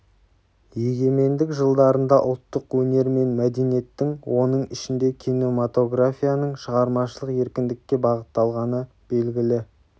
егемендік жылдарында ұлттық өнер мен мәдениеттің оның ішінде кинематографияның шығармашылық еркіндікке бағытталғаны белгілі